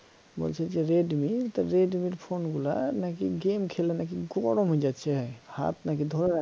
বলছি যে redmi তা redmi র phone গুলা নাকি game খেললে নাকি গরম হয়ে যাচ্ছে হাত নাকি ধরে রাখা